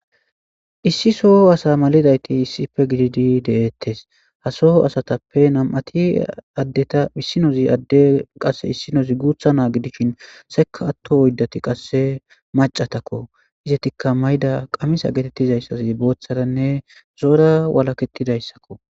issi soho asa malidayti issife gididi de'ettes ha soho asatappe nam'ati addeta issinozi adde qasse issinozi guutha naagidishin seka atto oyddati qasse macatakko izetikka mayda qamisa geetettizayssas booththaranne zo'ora walaketidayssakko